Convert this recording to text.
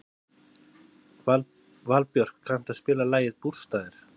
Valbjörk, kanntu að spila lagið „Bústaðir“?